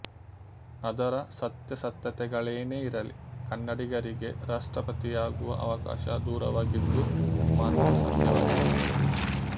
ಅದರ ಸತ್ಯಾಸತ್ಯತೆಗಳೇನೇ ಇರಲಿ ಕನ್ನಡಿಗರಿಗೆ ರಾಷ್ಟ್ರಪತಿಯಾಗುವ ಅವಕಾಶ ದೂರವಾಗಿದ್ದು ಮಾತ್ರ ಸತ್ಯವಾಗಿದೆ